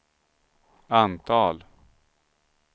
antal